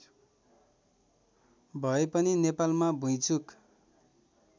भएपनि नेपालमा भुइँचुक